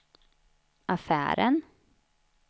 affären